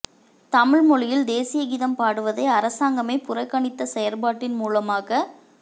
தமிழ் மொழியில் தேசிய கீதம் பாடுவதை அரசாங்கமே புறக்கணித்த செயற்பாட்டின் மூலமாக